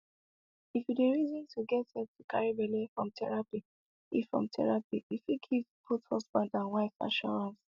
if you dey reason to get help to carry belle from therapy e from therapy e fit give both husaband and wife assurrance